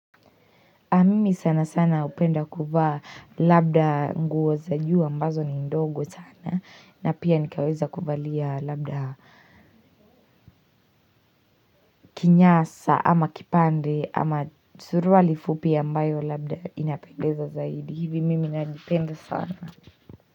Mimi sana sana hupenda kuvaa labda nguo za juu ambazo ni ndogo sana na pia nikaweza kuvalia labda kinyasa ama kipande ama suruali fupi ambayo labda inapendeza zaidi. Hivi mimi najipenda sana.